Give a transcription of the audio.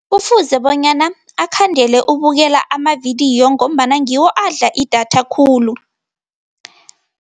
Kufuze bonyana akhandele ukubukela amavidiyo ngombana ngiwo adla idatha khulu.